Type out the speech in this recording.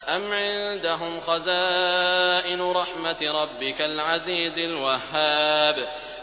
أَمْ عِندَهُمْ خَزَائِنُ رَحْمَةِ رَبِّكَ الْعَزِيزِ الْوَهَّابِ